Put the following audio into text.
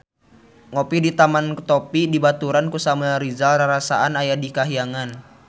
Ngopi di Taman Topi dibaturan ku Samuel Rizal rarasaan aya di kahyangan